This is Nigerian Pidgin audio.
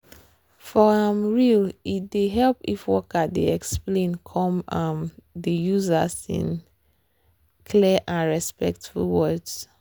for um real e dey help if worker dey explain treatment come um dey use as in clear and respectful words